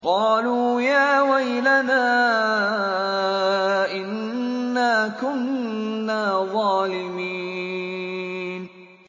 قَالُوا يَا وَيْلَنَا إِنَّا كُنَّا ظَالِمِينَ